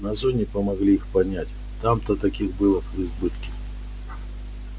на зоне помогли их понять там-то таких было в избытке